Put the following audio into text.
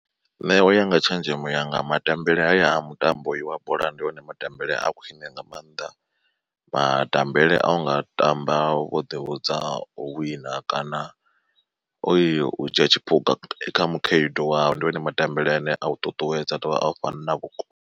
Nṋe uya nga tshenzhemo yanga matambele haya a mutambo uyu wa bola ndi one matambele a khwine nga maanḓa. Matambele a unga tamba wo ḓivhudza u wina kana uyo u dzhia tshiphuga kha mukhaedu wau ndi one matambele ane a u ṱuṱuwedza a ḓovha a u fhana vhukoni.